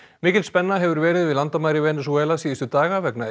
mikil spenna hefur verið við landamæri Venesúela síðustu daga vegna